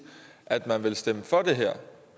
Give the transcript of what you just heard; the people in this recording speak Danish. at man ville stemme for det her